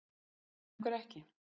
En af hverju ekki?